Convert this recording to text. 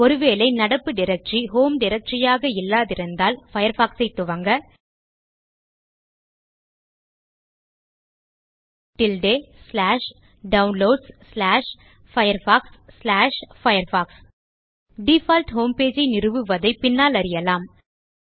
ஒருவேளை நடப்பு directory home directory ஆக இல்லாதிருந்தால் Firefox சை துவங்க டில்டே Downloadsfirefoxfirefox டிஃபால்ட் ஹோம்பேஜ் ஐ நிறுவுவதை பின்னால் அறியலாம்